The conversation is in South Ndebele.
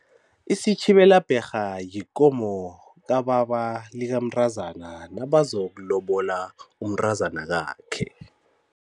Isitjhibela bherha yikomo kababa likamntazana nabazokulobola umntazanakakhe.